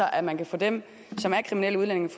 at man kan få dem som er kriminelle udlændinge